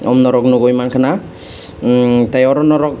norok nugui mankhana emm tei oro norog.